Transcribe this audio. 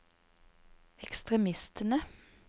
ekstremistene